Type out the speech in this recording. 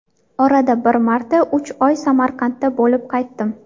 Orada bir marta, uch oy Samarqandda bo‘lib qaytdim.